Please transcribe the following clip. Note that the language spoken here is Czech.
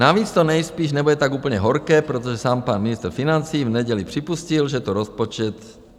Navíc to nejspíš nebude tak úplně horké, protože sám pan ministr financí v neděli připustil, že to rozpočet...